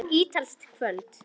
Þetta var ítalskt kvöld.